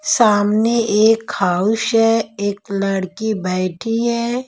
सामने एक हाउस है एक लड़की बैठी है।